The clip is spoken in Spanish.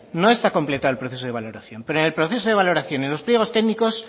no está completado el proceso de valoración pero en el proceso de valoración en los pliegos técnicos